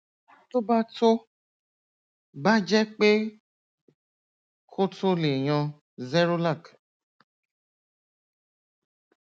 tó bá tó bá jẹ pé kò tó o lè yan zerolac